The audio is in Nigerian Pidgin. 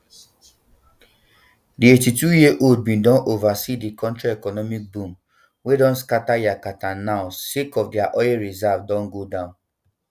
di eighty-twoyearold bin don oversee di kontri economic boom wey don scata yakata npw sake of dia oil reserves don go down